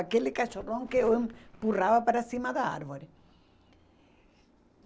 Aquele cachorrão que eu empurrava para cima da árvore.